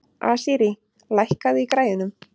Asírí, lækkaðu í græjunum.